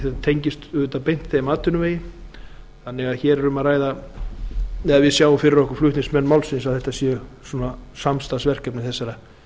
það tengist auðvitað beint þeim atvinnuvegi þannig að við sjáum fyrir okkur flutningsmenn málsins að þetta séu samstarfsverkefni þessara